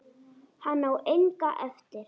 Hann á enga eftir.